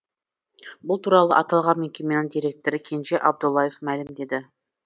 бұл туралы аталған мекеменің директоры кенже абдуллаев мәлімдеді